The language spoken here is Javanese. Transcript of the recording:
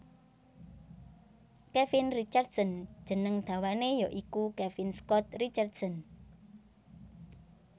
Kevin Richardson jeneng dawané ya iku Kevin Scott Richardson